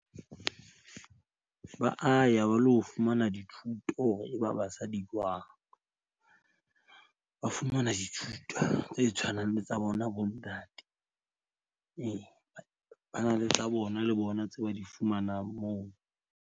Ba a ya ba lo fumana dithuto hore eba basadi jwang. Ba fumana dithuto tse tshwanang le tsa bona, bontate. Ee ba na le tsa bona le bona tse ba di fumanang moo.